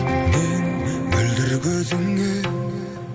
мен мөлдір көзіңе